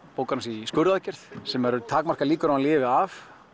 bókar hann sig í skurðaðgerð sem eru takmarkaðar líkur á að hann lifi af